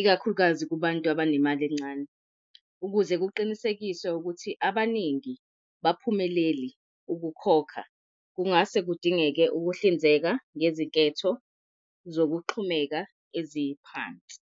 ikakhulukazi kubantu abanemali encane, ukuze kuqinisekiswe ukuthi abaningi baphumeleli ukukhokha. Kungase kudingeke ukuhlinzeka ngezinketho zokuxhumeka eziphansi.